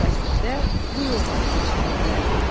Qış fəslində bu yolla keçinirdilər.